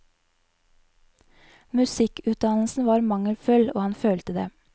Musikkutdannelsen var mangelfull, og han følte det.